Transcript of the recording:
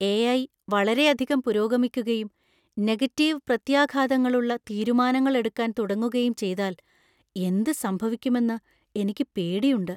AI. വളരെയധികം പുരോഗമിക്കുകയും negative പ്രത്യാഘാതങ്ങളുള്ള തീരുമാനങ്ങൾ എടുക്കാൻ തുടങ്ങുകയും ചെയ്താൽ എന്ത് സംഭവിക്കുമെന്ന് എനിക്ക് പേടി ഉണ്ട്.